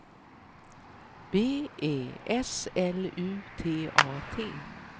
B E S L U T A T